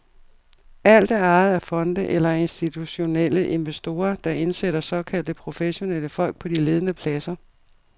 Alt er ejet af fonde eller af institutionelle investorer, der indsætter såkaldte professionelle folk på de ledende pladser.